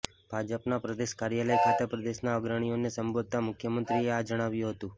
ભાજપના પ્રદેશ કાર્યાલય ખાતે પ્રદેશના અગ્રણીઓને સંબોધતા મુખ્યમંત્રીએ આ જણાવ્યું હતું